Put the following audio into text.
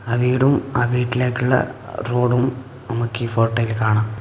ആ വീടും ആ വീട്ടിലേക്കുള്ള റോഡും നമുക്ക് ഈ ഫോട്ടോയിൽ കാണാം.